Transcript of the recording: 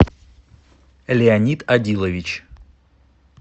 леонид одилович